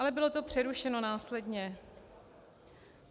Ale bylo to přerušeno následně.